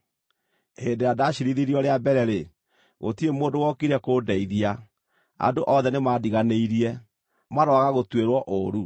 Hĩndĩ ĩrĩa ndaciirithirio rĩa mbere-rĩ, gũtirĩ mũndũ wokire kũndeithia, andũ othe nĩmandiganĩirie. Maroaga gũtuĩrwo ũũru.